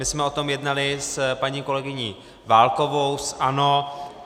My jsme o tom jednali s paní kolegyní Válkovou z ANO.